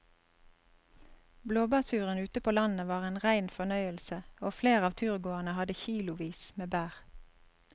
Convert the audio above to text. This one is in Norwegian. Blåbærturen ute på landet var en rein fornøyelse og flere av turgåerene hadde kilosvis med bær.